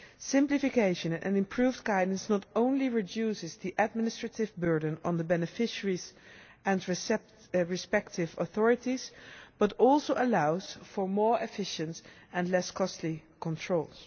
Simplification and improved guidance not only reduces the administrative burden on the beneficiaries and respective authorities but also allows for more efficient and less costly controls.